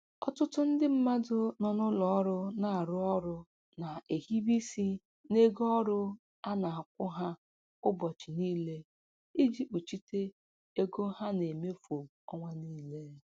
Ọtụtụ ndị mmadụ nọ n'ụlọ ọrụ na-arụ ọrụ na-ehibe isi n'ego ọrụ a na-akwụ ha ụbọchị niile iji kpuchite ego ha na-emefu ọnwa niile.